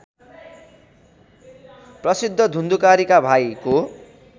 प्रसिद्ध धुन्धुकारीका भाइको